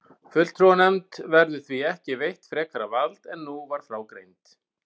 Fulltrúanefnd verður því ekki veitt frekara vald en nú var frá greint.